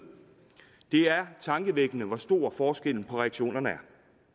det er tankevækkende hvor stor forskellen på reaktionerne er